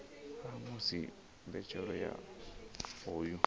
ha musi mbetshelo ya hoyu